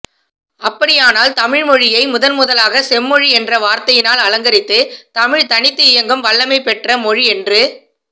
அப்படியானால் தமிழ் மொழியை முதல்முதலாக செம்மொழி என்ற வார்த்தையால் அலங்கரித்து தமிழ் தனித்து இயங்கும் வல்லமை பெற்ற மொழி என்று